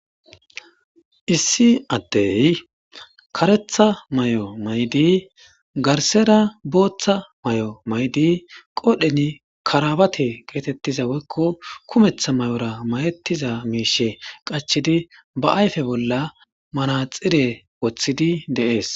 Issi addey karetha may'o maydi garsera booththa may'o maydi qoodheni karabate geetettiza woykko kumeththa may'ora mayetiza miishe qachidi ba ayfe bolla manaxire woththidi dees.